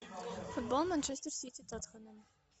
футбол манчестер сити тоттенхэм